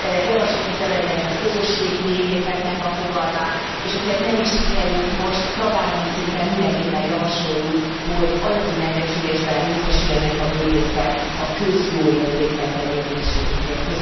Javasoltuk bevezetni a közösségi méhészetnek a fogalmát, és hogyha ez nem is sikerült most, tagállami szinten mindenképpen javasoljuk, hogy anyagi megbecsülésben részesüljenek a méhészek a közjóért végzett tevékenységükért.